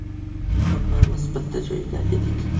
Hammamiz bitta joyda edik.